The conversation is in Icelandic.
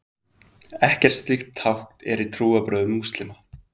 Ekkert slíkt tákn er í trúarbrögðum múslíma.